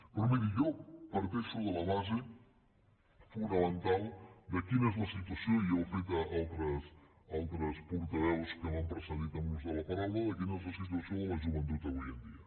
però miri jo parteixo de la base fonamental de quina és la situació i ja ho han fet altres portaveus que m’han precedit en l’ús de la paraula de la joventut avui en dia